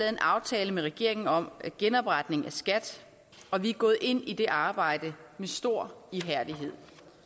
en aftale med regeringen om genopretning af skat og vi er gået ind i det arbejde med stor ihærdighed